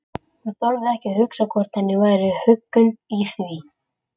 Hún þorði ekki að hugsa hvort henni væri huggun í því.